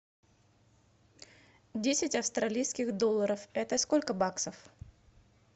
десять австралийских долларов это сколько баксов